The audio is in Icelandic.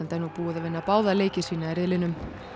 er nú búið að vinna báða leiki sína í riðlinum